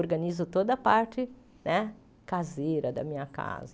Organizo toda a parte né caseira da minha casa.